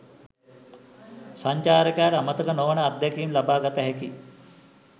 සංචාරකයාට අමතක නොවන අත්දැකීම් ලබාගත හැකි